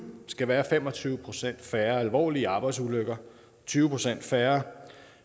skal være fem og tyve procent færre alvorlige arbejdsulykker tyve procent færre